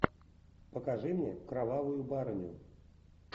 покажи мне кровавую барыню